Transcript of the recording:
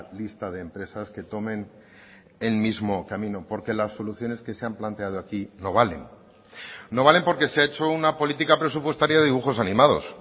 lista de empresas que tomen el mismo camino porque las soluciones que se han planteado aquí no valen no valen porque se ha hecho una política presupuestaria de dibujos animados